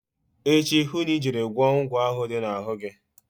Echi hụ na ị jere gwọọ ụgwọ ahụ dị na-ahụ gi.